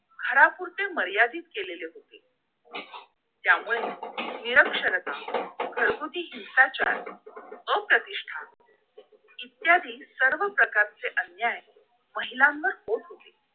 घारापुरते मर्यादित केलेले होते त्यामुळे निरक्षरता घरगुती हिंसाचार व प्रतिष्ठा इत्यादी सर्व प्रकारचे अन्याय महिलांवर होत होते